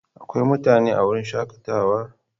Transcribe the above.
Akwai mutane a wurin shakatawa?